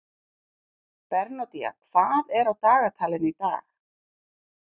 Bernódía, hvað er á dagatalinu í dag?